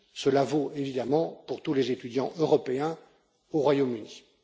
Cela vaut évidemment pour tous les étudiants européens au Royaume Uni.